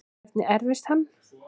Hvernig erfist hann?